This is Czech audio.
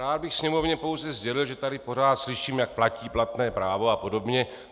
Rád bych Sněmovně pouze sdělil, že tady pořád slyším, jak platí platné právo a podobně.